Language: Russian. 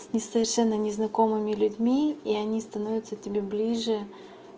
с несовершенно незнакомыми людьми и они становятся тебе ближе